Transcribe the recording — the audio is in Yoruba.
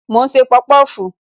Mo ń ṣe pọpọfu